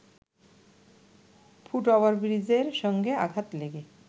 foot ওভারব্রিজের সঙ্গে আঘাত লেগে